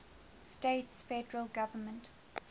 states federal government